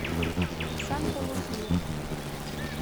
санта лузия